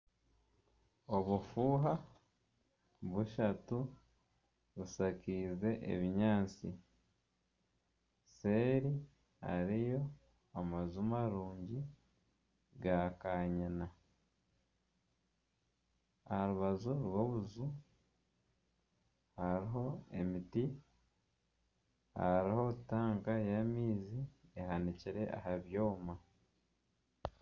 Obufuha bushatu bushakize ebinyaasti, seri hariyo amaju marungi ga kanyina. Arubaju rw'obuju hariho emiti, hariho tanka y'amaizi ehanikire aha byooma.